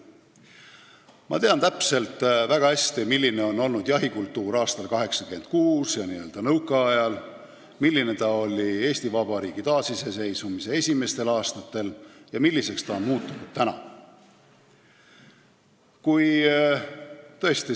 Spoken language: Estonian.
Ma tean väga hästi, milline oli jahikultuur aastal 1986 ja nõukaajal, milline see oli Eesti Vabariigi taasiseseisvumise esimestel aastatel ja milliseks see on tänaseks muutunud.